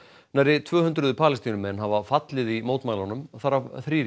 nærri tvö hundruð Palestínumenn hafa fallið í mótmælunum þar af þrír í